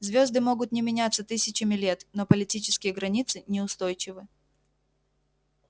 звёзды могут не меняться тысячами лет но политические границы неустойчивы